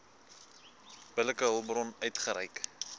billike hulpbron uitgereik